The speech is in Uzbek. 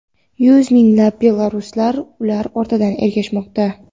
Yuz minglab belaruslar ular ortidan ergashmoqda.